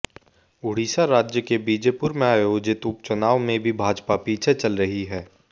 ओडीसा राज्य के बीजेपुर में आयोजित उप चुनाव में भी भाजपा पीछे चल रही है